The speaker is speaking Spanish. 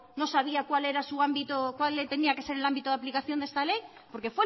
no sabía cuál era su ámbito cuál tenía que ser el ámbito de aplicación de esta ley porque